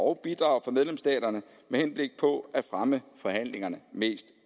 og bidrag fra medlemsstaterne med henblik på at fremme forhandlingerne mest